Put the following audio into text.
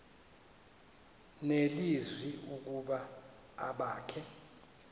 nelizwi ukuba abakhe